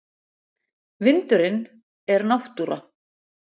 Vindurinn er náttúra.